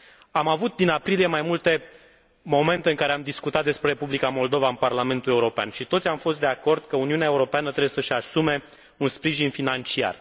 Am avut, din aprilie, mai multe momente în care am discutat despre Republica Moldova în Parlamentul European și toți am fost de acord că Uniunea Europeană trebuie să și asume un sprijin financiar.